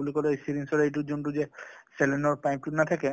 বুলি কলে syringe ৰ এইটো যোনটো যে saline ৰ pipe টো নাথাকে ,